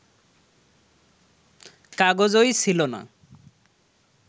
কাগজই ছিল না